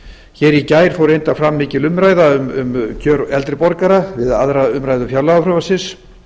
hér í gær fór reyndar fram mikil umræða um kjör eldri borgara við aðra umræðu fjárlagafrumvarpsins